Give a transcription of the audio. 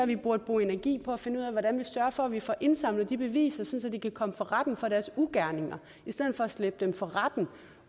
vi burde bruge energi på at finde ud af hvordan vi sørger for at vi får indsamlet de beviser sådan at de kan komme for retten for deres ugerninger i stedet for at slæbe dem for retten